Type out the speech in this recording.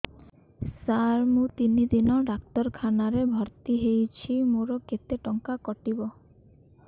ସାର ମୁ ତିନି ଦିନ ଡାକ୍ତରଖାନା ରେ ଭର୍ତି ହେଇଛି ମୋର କେତେ ଟଙ୍କା କଟିବ